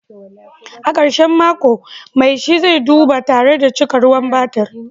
A karshen mako, mai shi zai duba tare da cika ruwan batir